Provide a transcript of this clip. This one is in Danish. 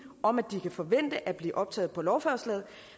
om at de kan forvente at blive optaget på lovforslaget